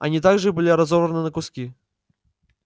они также были разорваны на куски